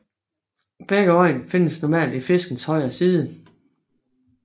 Begge øjne findes normalt på fiskens højre side